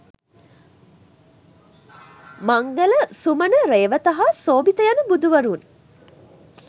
මංගල, සුමන, රේවත හා සෝභිත යන බුදුවරුන්